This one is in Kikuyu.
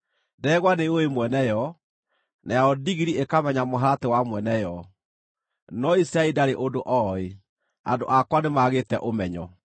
Ndegwa nĩyũũĩ mwene yo, nayo ndigiri ĩkamenya mũharatĩ wa mwene yo, no Isiraeli ndarĩ ũndũ ooĩ, andũ akwa nĩmagĩte ũmenyo.”